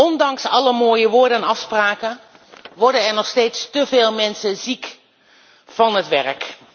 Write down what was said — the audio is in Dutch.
Ondanks alle mooie woorden en afspraken worden er nog steeds te veel mensen ziek van het werk.